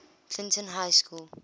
clinton high school